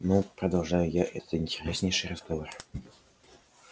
ну продолжаю я это интереснейший разговор